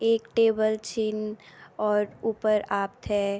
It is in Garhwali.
एक टेबल छिन और ऊपर आपथे --